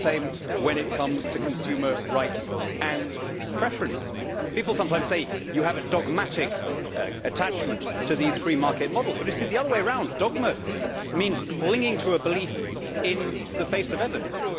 It is the same when it comes to consumer rights and preferences. People sometimes say that I have a dogmatic attachment to these free market models, but the other way round dogma means clinging to a belief in the face of evidence.